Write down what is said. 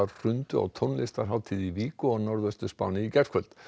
hrundu á tónlistarhátíð í Vigo á Norðvestur Spáni í gærkvöldi